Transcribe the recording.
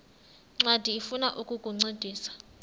ncwadi ifuna ukukuncedisa